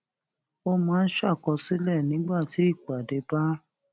ó máa ń ṣàkọsílè nígbà tí ìpàdé bá